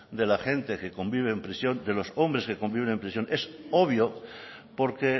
de la gente que convive en prisión de los hombres que conviven en prisión es obvio porque